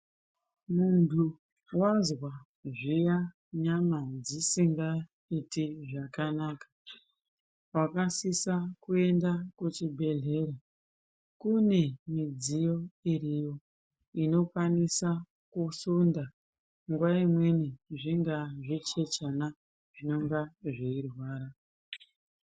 Muntu wazwa zviya nyama dzisingaiti zvakanaka unosisa kuenda kuchibhedhlera. Kune midziyo iriyo inokwanisa kuhlonda nguva imweni zvingaa zvichechana zvinenge zveirwara.